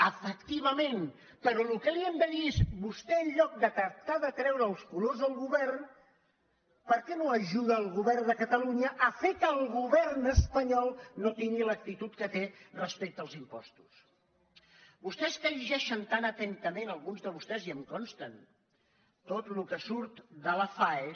efectivament però el que li hem de dir és vostè en lloc de tractar de treure els colors al govern per què no ajuda el govern de catalunya a fer que el govern espanyol no tingui l’actitud que té respecte als impostos vostès que llegeixen tan atentament alguns de vostès i em consten tot el que surt de la faes